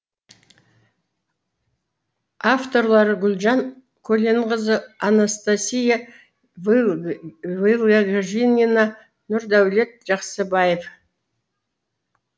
авторлары гүлжан көленқызы анастасия вылегжанина нурдаулет жаксыбаев